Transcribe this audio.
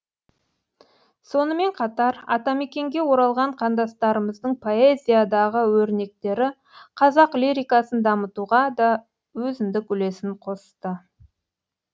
сонымен қатар атамекенге оралған қандастарымыздың поэзиядағы өрнектері қазақ лирикасын дамытуға да өзіндік үлесін қосты